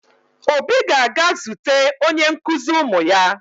Obi ga-aga zute onye nkụzi ụmụ ya